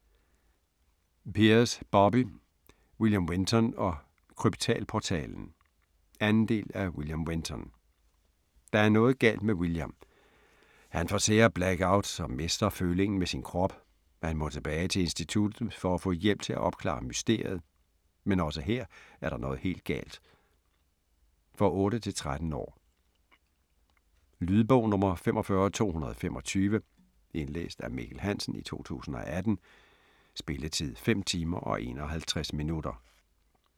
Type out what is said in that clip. Peers, Bobbie: William Wenton & Kryptalportalen 2. del af William Wenton. Der er noget galt med William. Han får sære blackouts og mister følingen med sin krop. Han må tilbage til Instituttet for at få hjælp til at opklare mysteriet, men også her er der noget helt galt. For 8-13 år. Lydbog 45225 Indlæst af Mikkel Hansen, 2018. Spilletid: 5 timer, 51 minutter.